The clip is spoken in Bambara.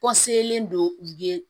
don ye